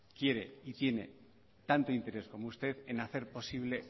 quiere y tiene tanto interés como usted en hacer posible